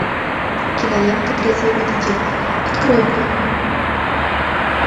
кинолента трезвый водитель открой мне